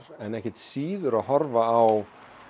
en ekkert síður að horfa á